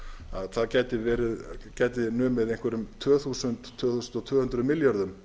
að það gæti numið einhverjum tvö þúsund til tvö þúsund tvö hundruð milljörðum